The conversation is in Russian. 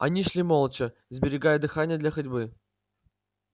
они шли молча сберегая дыхание для ходьбы